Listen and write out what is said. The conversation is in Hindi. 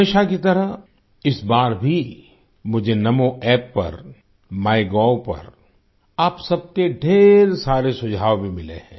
हमेशा की तरह इस बार भी मुझे NamoApp पर माइगोव पर आप सबके ढ़ेर सारे सुझाव भी मिले हैं